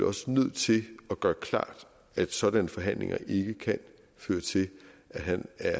også nødt til at gøre klart at sådanne forhandlinger ikke kan føre til at han er